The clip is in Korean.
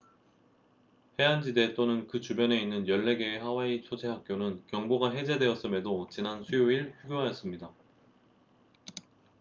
해안지대 또는 그 주변에 있는 14개의 하와이 소재 학교는 경보가 해제되었음에도 지난 수요일 휴교하였습니다